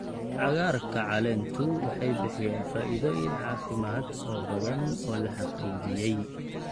Cagaarka caleentu waxay bixiyaan faa'iidooyin caafimaad oo badan oo la xaqiijiyay.